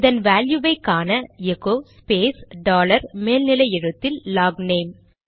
இதன் வேல்யுவை காண எகோ ஸ்பேஸ் டாலர் மேல் நிலை எழுத்தில் லாக்நேம்